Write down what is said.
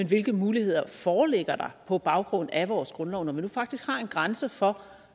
hvilke muligheder der foreligger på baggrund af vores grundlov når man faktisk har en grænse for